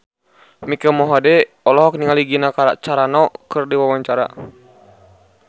Mike Mohede olohok ningali Gina Carano keur diwawancara